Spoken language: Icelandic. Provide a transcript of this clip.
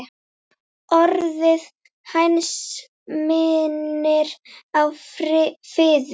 Orðið hænsn minnir á fiður.